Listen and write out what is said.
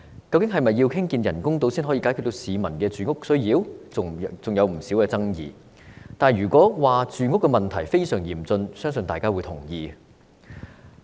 究竟是否要興建人工島才能解決市民的住屋需要，仍然存在不少爭議，但如果說住屋問題非常嚴峻，相信大家也會認同。